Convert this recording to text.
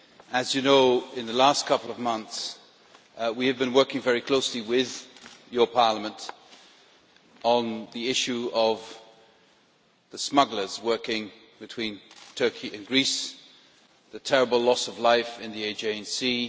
As you know, in the last couple of months we have been working very closely with your Parliament on the issue of the smugglers working between Turkey and Greece, the terrible loss of life in the Aegean Sea.